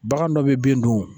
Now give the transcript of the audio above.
Bagan dɔ bɛ bin dun